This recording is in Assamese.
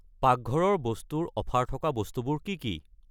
পাকঘৰৰ বস্তু ৰ অফাৰ থকা বস্তুবোৰ কি কি?